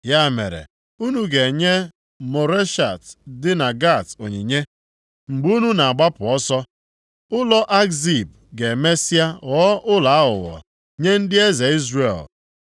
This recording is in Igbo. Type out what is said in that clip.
Ya mere, unu ga-enye Moreshet dị na Gat onyinye mgbe unu na-agbapụ ọsọ. Ụlọ Akzib ga-emesịa ghọọ ụlọ aghụghọ nye ndị eze Izrel.